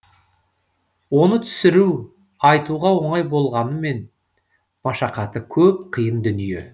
оны түсіру айтуға оңай болғанымен машақаты көп қиын дүние